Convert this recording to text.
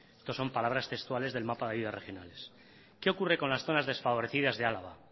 estos son palabras textuales del mapa de ayudas regionales qué ocurre con las zonas desfavorecidas de álava